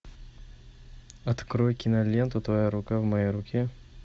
открой киноленту твоя рука в моей руке